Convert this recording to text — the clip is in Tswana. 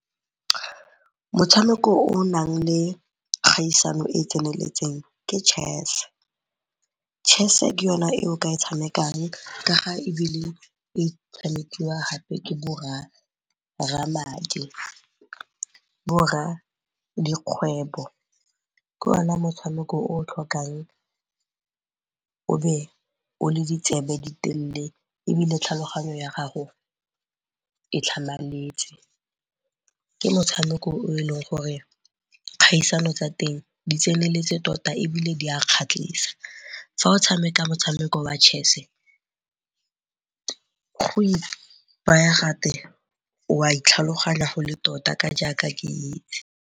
Motshameko o o nang le kgaisano e e tseneletseng ke chess, chess-e ke yone e o ka e tshamekang ka ga e tshamekiwa ke borra madi, borra dikgwebo. Ke ona motshameko o o tlhokang o be o le ditsebe ditelele ebile tlhaloganyo ya gago e tlhamaletse, ke motshameko o e leng gore kgaisano tsa teng di tseneletse tota ebile di a kgatlhisa. Fa o tshameka motshameko wa chess-e go itaya gatwe wa itlhaloganya go le tota ka jaaka ke .